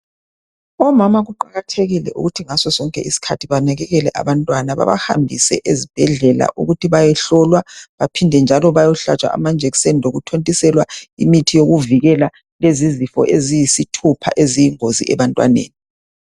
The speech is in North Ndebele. Omama kuqakathekile ukuthi ngasosonke isikhathi banakekele abantwana ukuthi bahambise abantwana ezibhedlela ukuthi bayehlola baphinde njalo baye hlatshwa amajekiseni lokuthontiselwa imithi yokuvikela lezizifo eziyisithupha eziyingozi ebantwaneni.